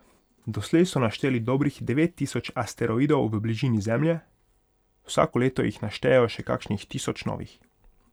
Doslej so našteli dobrih devet tisoč asteroidov v bližini Zemlje, vsako leto jih naštejejo še kakšnih tisoč novih.